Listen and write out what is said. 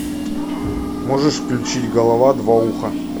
можешь включить голова два уха